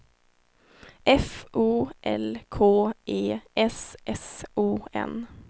F O L K E S S O N